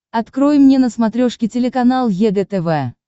открой мне на смотрешке телеканал егэ тв